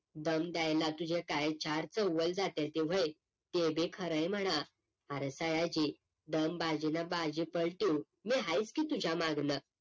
दम द्यायला तुझ्या काय चार जात्याती व्हय ते बी खरंय म्हणा आरं सयाजी दमबाजीनं बाजी पलटवू मी हायीच की तुझ्या मागणं